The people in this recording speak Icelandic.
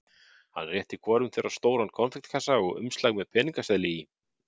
Hann rétti hvorum þeirra stóran konfektkassa og umslag með peningaseðli í.